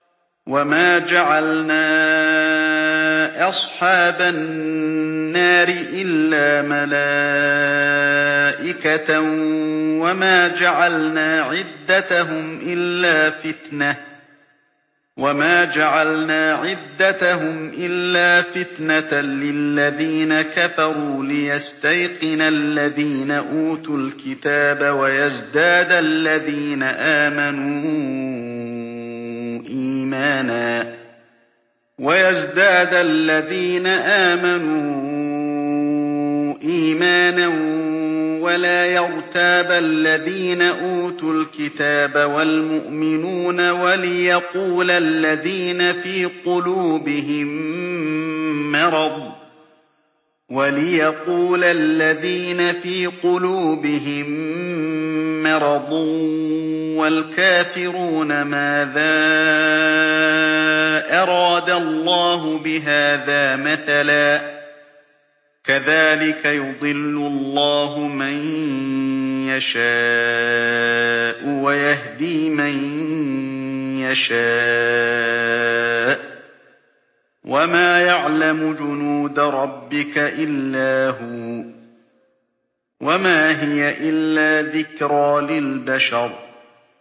وَمَا جَعَلْنَا أَصْحَابَ النَّارِ إِلَّا مَلَائِكَةً ۙ وَمَا جَعَلْنَا عِدَّتَهُمْ إِلَّا فِتْنَةً لِّلَّذِينَ كَفَرُوا لِيَسْتَيْقِنَ الَّذِينَ أُوتُوا الْكِتَابَ وَيَزْدَادَ الَّذِينَ آمَنُوا إِيمَانًا ۙ وَلَا يَرْتَابَ الَّذِينَ أُوتُوا الْكِتَابَ وَالْمُؤْمِنُونَ ۙ وَلِيَقُولَ الَّذِينَ فِي قُلُوبِهِم مَّرَضٌ وَالْكَافِرُونَ مَاذَا أَرَادَ اللَّهُ بِهَٰذَا مَثَلًا ۚ كَذَٰلِكَ يُضِلُّ اللَّهُ مَن يَشَاءُ وَيَهْدِي مَن يَشَاءُ ۚ وَمَا يَعْلَمُ جُنُودَ رَبِّكَ إِلَّا هُوَ ۚ وَمَا هِيَ إِلَّا ذِكْرَىٰ لِلْبَشَرِ